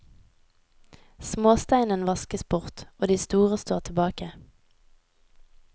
Småsteinen vaskes bort, og de store står tilbake.